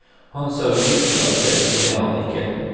Han sa uttrykkelig at det ville han ikke.